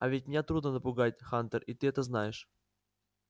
а ведь меня трудно напугать хантер и ты это знаешь